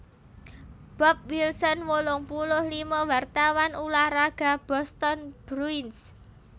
Bob Wilson wolung puluh lima wartawan ulah raga Boston Bruins